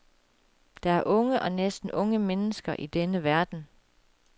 Der er unge og næsten unge mennesker i denne verden.